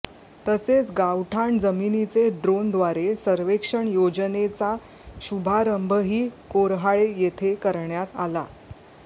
तसेच गावठाण जमिनीचे ड्रोनद्वारे सर्वेक्षण योजनेचा शुभारंभही कोर्हाळे येथे करण्यात आला